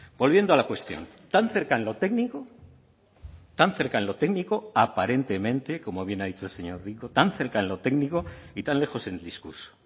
volviendo a la cuestión tan cerca en lo técnico tan cerca en lo técnico aparentemente como bien ha dicho el señor rico tan cerca en lo técnico y tan lejos en el discurso